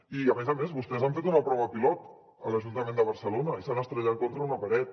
i a més a més vostès han fet una prova pilot a l’ajuntament de barcelona i s’han estavellat contra una paret